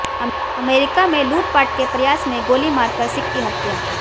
America में लूटपाट के प्रयास में गोली मारकर सिख की हत्या